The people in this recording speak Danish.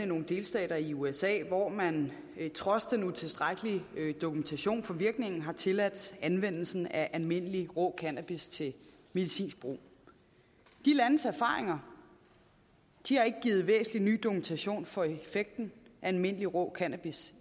nogle delstater i usa hvor man trods den utilstrækkelige dokumentation for virkningen har tilladt anvendelsen af almindelig rå cannabis til medicinsk brug de landes erfaringer har ikke givet væsentlig ny dokumentation for effekten af almindelig rå cannabis